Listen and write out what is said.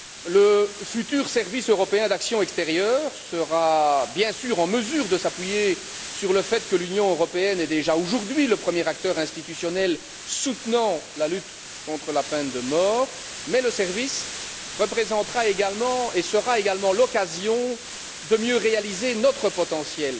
Le futur service européen pour l'action extérieure sera bien sûr en mesure de s'appuyer sur le fait que l'Union européenne est déjà aujourd'hui le premier acteur institutionnel soutenant la lutte contre la peine de mort, mais le service représentera et constituera également l'occasion de mieux réaliser notre potentiel.